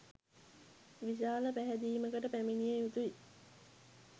විශාල පැහැදීමකට පැමිණිය යුතුයි.